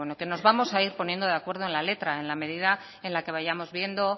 que nos vamos a ir poniendo de acuerdo en la letra en la medida en la que vayamos viendo